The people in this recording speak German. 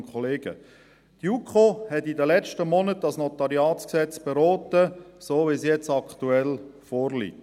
Die JuKo hat in den letzten Monaten das NG beraten, so, wie es aktuell vorliegt.